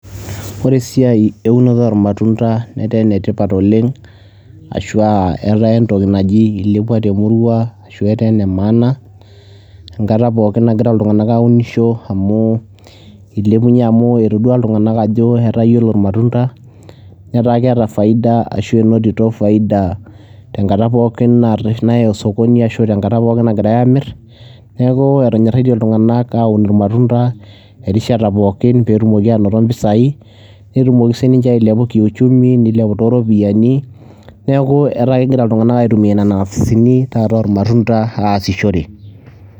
Ore esiai eunoto oormatunda netaa ene tipat oleng' ashu aa etaa entoki naji ilepua te murua ashu etaa ene maana enkata poookin nagira iltung'anak aunisho amu ilepunye amu etodua iltung'anak ajo etaa iyiolo irmatunda netaa keeta faida ashu enotito faida tenkata pookin naya osokoni ashu tenkata pookin nagirai aamir. Neeku etonyoraitie iltung'anak aun irmatunda erishata pookin peetumoki aanoto impisai, netumoki siinche ailepu kiuchumi, nilepu too ropiani. Neeku etaa kegira iltung'anak aitumia nena ofisini taata ormatunda aasishore.